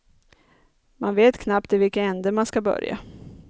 Man vet knappt i vilken ände man ska börja.